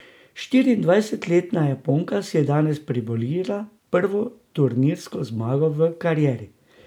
Štiriindvajsetletna Japonka si je danes priborila prvo turnirsko zmago v karieri.